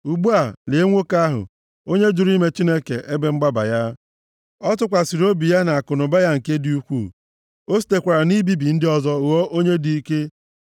“Ugbu a, lee nwoke ahụ, onye jụrụ ime Chineke ebe mgbaba ya. Ọ tụkwasịrị obi ya na akụnụba ya nke dị ukwuu. O sitekwara na ibibi ndị ọzọ ghọọ onye dị ike!”